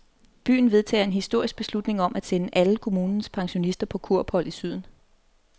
Byen vedtager en historisk beslutning om at sende alle kommunens pensionister på kurophold i syden.